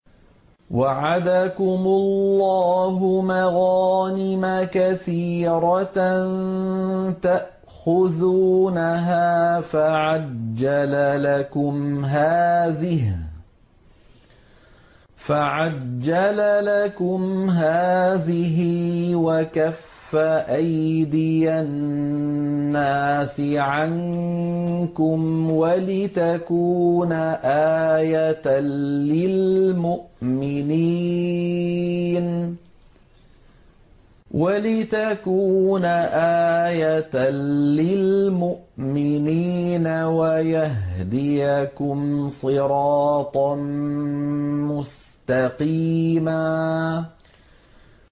وَعَدَكُمُ اللَّهُ مَغَانِمَ كَثِيرَةً تَأْخُذُونَهَا فَعَجَّلَ لَكُمْ هَٰذِهِ وَكَفَّ أَيْدِيَ النَّاسِ عَنكُمْ وَلِتَكُونَ آيَةً لِّلْمُؤْمِنِينَ وَيَهْدِيَكُمْ صِرَاطًا مُّسْتَقِيمًا